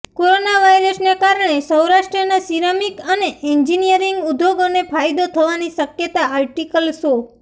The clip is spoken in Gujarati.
કોરોના વાયરસને કારણે સૌરાષ્ટ્રના સિરામિક અને એન્જિનિયરિંગ ઉદ્યોગોને ફાયદો થવાની શક્યતા આર્ટિકલ શો